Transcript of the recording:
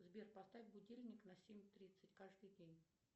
сбер поставь будильник на семь тридцать каждый день